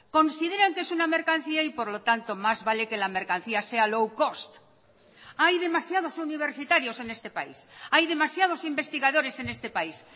consideran que es una mercancía y por lo tanto más vale que la mercancía sea low cost hay demasiados universitarios en este país hay demasiados investigadores en este país